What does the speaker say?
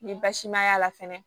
Ni basi ma y'a la fɛnɛ